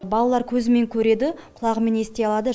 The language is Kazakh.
балалар көзімен көреді құлағымен ести алады